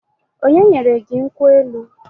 Onye nyere gị nkwụ elu?